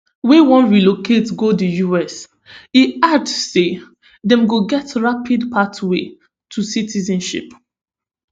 wey wan relocate go di us e add say dem go get rapid pathway to citizenship